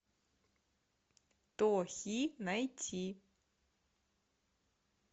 тохи найти